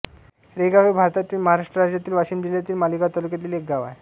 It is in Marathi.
रेगाव हे भारतातील महाराष्ट्र राज्यातील वाशिम जिल्ह्यातील मालेगाव तालुक्यातील एक गाव आहे